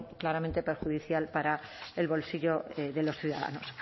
claramente perjudicial para el bolsillo de los ciudadanos